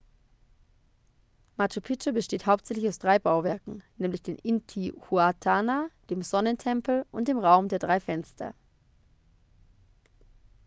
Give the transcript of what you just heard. machu picchu besteht hauptsächlich aus drei bauwerken nämlich den intihuatana dem sonnentempel und dem raum der drei fenster